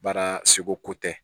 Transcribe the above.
Baara segu ko tɛ